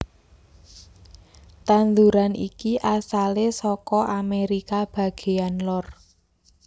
Tanduran iki asalé saka Amerika bagéyan lor